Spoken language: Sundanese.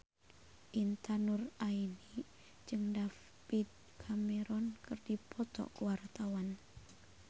Intan Nuraini jeung David Cameron keur dipoto ku wartawan